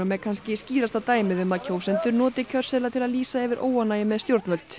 er kannski skýrasta dæmið um að kjósendur noti kjörseðla til að lýsa yfir óánægju með stjórnvöld